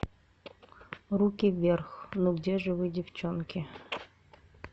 руки вверх ну где же вы девчонки